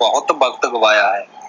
ਬਹੁਤ ਵਕਤ ਗੁਆਇਆ ਹੈ।